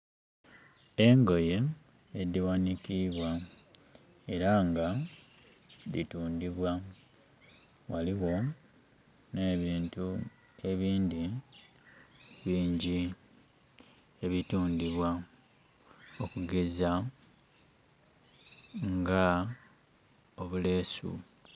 Engoye edhighanikibwa era nga dhitundibwa, ghaligho nebintu ebindhi bingi ebitundibwa okugeza nga obulesu.